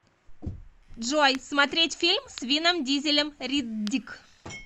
джой смотреть фильм с винном дизелем риддик